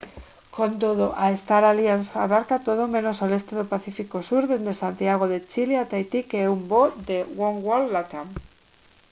con todo a star alliance abarca todo menos o leste do pacífico sur desde santiago de chile a tahití que é un voo de oneworld latam